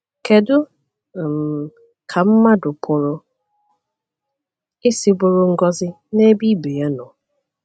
Kedu um ka mmadụ pụrụ isi bụrụ ngọzi n’ebe ibe ya nọ?